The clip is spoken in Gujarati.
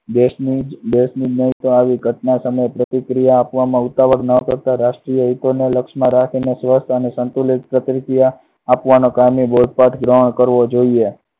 દેશની નહિ તો આવી ઘટના સામે પ્રતિક્રિયા આપવા ઉતાવળ ના કરતા રાષ્ટ્રીય હિતોને લક્ષમાં રાખીને સંતુલિત પ્રતિક્રિયા આપવામાં બોલ પણ ગ્રહણ કરવો જોઈએ.